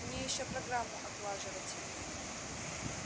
мне ещё программу отлаживать